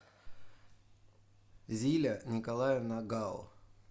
зиля николаевна гао